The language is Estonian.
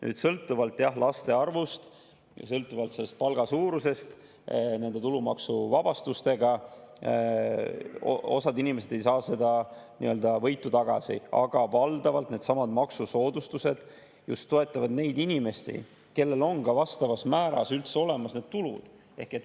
Jah, sõltuvalt laste arvust ja sõltuvalt palga suurusest nende tulumaksuvabastustega osa inimesi ei saa seda võitu tagasi, aga valdavalt needsamad maksusoodustused just toetavad neid inimesi, kellel on ka vastavas määras üldse olemas need tulud.